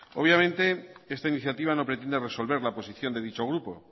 obviamente esta iniciativa no pretende resolver la posición de dicho grupo